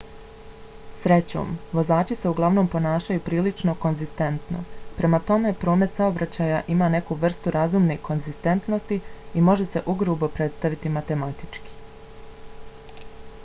srećom vozači se uglavnom ponašaju prilično konzistentno. prema tome promet saobraćaja ima neku vrstu razumne konzistentnosti i može se ugrubo predstaviti matematički